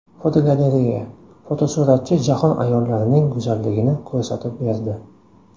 Fotogalereya: Fotosuratchi jahon ayollarining go‘zalligini ko‘rsatib berdi.